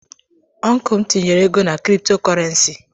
Ọncụl m tinyere ego na krịptọ kurenci.